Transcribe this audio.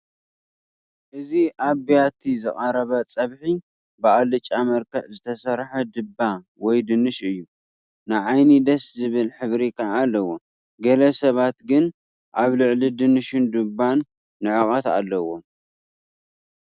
እዚ ኣብ ቢያቲ ዝቐረበ ፀብሒ ብኣልጫ መልክዕ ዝተሰርሐ ድባ ወይ ድንሽ እዩ፡፡ ንዓይኒ ደስ ዝብል ሕብሪ ከዓ ኣለዎ፡፡ ገለ ሰባት ግን ኣብ ልዕሊ ድንሽን ድባን ንዕቐት ኣለዎም፡፡